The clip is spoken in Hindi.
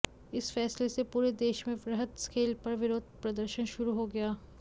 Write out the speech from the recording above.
इस फैसले से पूरे देश में वृहत स्केल पर विरोध प्रदशर्न शुरू हो गया